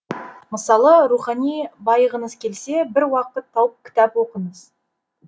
мысалы рухани байығыңыз келсе бір уақыт тауып кітап оқыңыз